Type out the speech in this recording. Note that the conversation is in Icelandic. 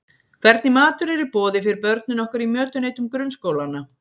Hvernig matur er í boði fyrir börnin okkar í mötuneytum grunnskólanna?